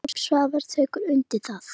Jakob Svavar tekur undir það.